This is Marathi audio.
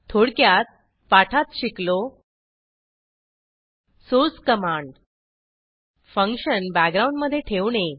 थोडक्यात पाठात शिकलो सोर्स कमांड फंक्शन बॅकग्राउंड मधे ठेवणे